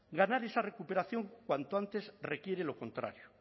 ganar esa recuperación cuanto antes requiere lo contrario